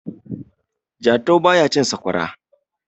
jatau ba ya cin sakwara